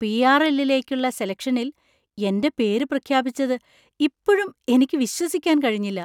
PRL .ലേക്കുള്ള സെലക്ഷനില്‍ എന്‍റെ പേര് പ്രഖ്യാപിച്ചത് ഇപ്പഴും എനിക്ക് വിശ്വസിക്കാൻ കഴിഞ്ഞില്ല!